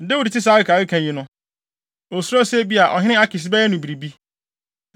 Dawid tee saa akekakeka yi no, osuroo sɛ ebia ɔhene Akis bɛyɛ no biribi.